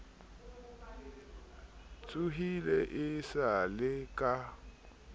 tsohile e sa le ka